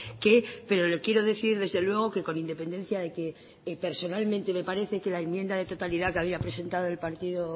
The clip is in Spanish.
qué pero le quiero decir desde luego que con independencia de que personalmente me parece que la enmienda de totalidad que había presentado el partido